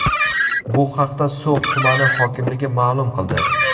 Bu haqda So‘x tumani hokimligi ma’lum qildi .